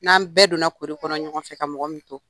N'an bɛɛ donna kori kɔnɔ ɲɔgɔn fɛ ka mɔgɔ min to